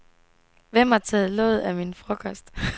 Hvem har taget låget af min frokost?